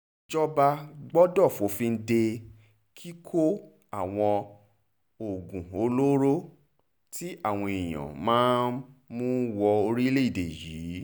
ìjọba gbọ́dọ̀ fòfin de kíkọ àwọn oògùn-olóró tí àwọn èèyàn yẹn máa ń mú wọ orílẹ̀‐èdè yìí